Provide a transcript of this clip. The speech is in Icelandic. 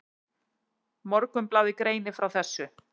Morgunblaðið greinir frá þessu.